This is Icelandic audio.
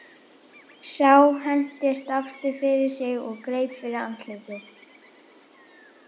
Sá hentist aftur fyrir sig og greip fyrir andlitið.